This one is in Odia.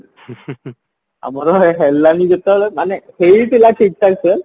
ଆମର ହେଲାନି ଯେତେବେଳେ ମାନେ ହେଇଥିଲା ଠିକ ଠାକସେ